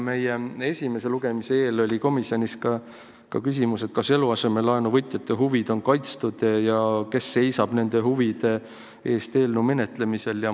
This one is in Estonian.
Meie esimese lugemise eel tõstatus komisjonis ka küsimus, kas eluasemelaenu võtjate huvid on kaitstud ja kes seisab nende huvide eest eelnõu arutelul.